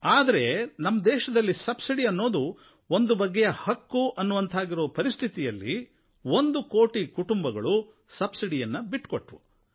ಆದರೆ ನಮ್ಮ ದೇಶದಲ್ಲಿ ಸಬ್ಸಿಡಿ ಅನ್ನೋದು ಒಂದು ಬಗೆಯ ಹಕ್ಕು ಅನ್ನುವಂಥ ಪರಿಸ್ಥಿತಿಯಲ್ಲಿ ಒಂದು ಕೋಟಿ ಕುಟುಂಬಗಳು ಸಬ್ಸಿಡಿಯನ್ನು ಬಿಟ್ಟುಕೊಟ್ಟವು